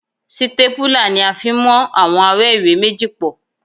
Sítépúlà ni a fi ń mú àwọn awẹ́ ìwé méjì pọ̀